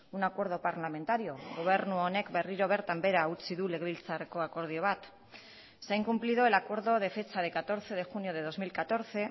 un acuerdo parlamentario gobernu honek berriro bertan behera utzi du legebiltzarreko akordio bat se ha incumplido el acuerdo de fecha de catorce de junio de dos mil catorce